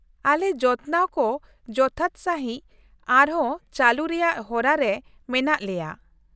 ᱟᱞᱮ ᱡᱚᱛᱱᱟᱣ ᱠᱚ ᱡᱚᱛᱷᱟᱛ ᱥᱟᱹᱦᱤᱡ ᱟᱨᱦᱚᱸ ᱪᱟᱞᱩ ᱨᱮᱭᱟᱜ ᱦᱚᱨᱟ ᱨᱮ ᱢᱮᱱᱟᱜ ᱞᱮᱭᱟ ᱾